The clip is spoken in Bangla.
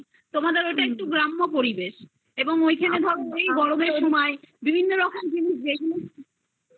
তোমাদের ওটা একটু গ্রাম্য পরিবেশ এবং ঐখানে ধরো এই গরমে বিভিন্ন রকমের জিনিস দেখলে